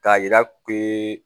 K'a yira purukee